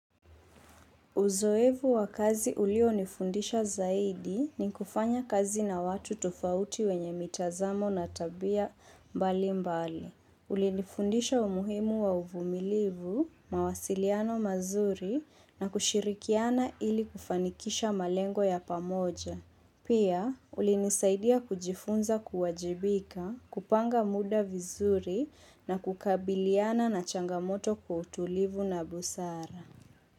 Uzoefu wa kazi ulionifundisha zaidi ni kufanya kazi na watu tofauti wenye mitazamo na tabia mbalimbali. Kulinifundisha umuhimu wa uvumilivu, mawasiliano mazuri na kushirikiana ili kufanikisha malengo ya pamoja. Pia ulinisaidia kujifunza kuwajibika, kupanga muda vizuri na kukabiliana na changamoto kwa utulivu na busara.